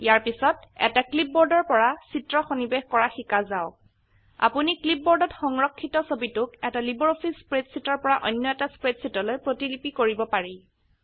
ইয়াৰ পিছত এটা ক্লিপবোৰ্ডৰ পৰা চিত্ৰ সন্নিবেশ কৰা শিকা যাওক আপোনি ক্লিপবোৰ্ডত সংৰক্ষিত ছবিটোক এটা লাইব্ৰঅফিছ স্প্ৰেডশীটৰ পৰা অন্য এটা স্প্ৰেডশীটলৈ প্ৰতিলিপি কৰিব পাৰি